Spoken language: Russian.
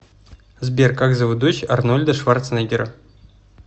сбер как зовут дочь арнольда шварценеггера